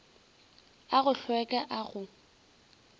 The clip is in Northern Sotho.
a go hlweka a go